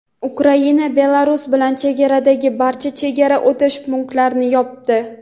Ukraina Belarus bilan chegaradagi barcha chegara o‘tish punktlarini yopdi.